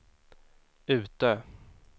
Utö